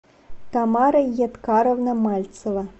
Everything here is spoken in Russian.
тамара едкаровна мальцева